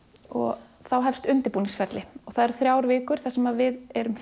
og þá hefst undirbúningsferli það eru þrjár vikur þar sem við erum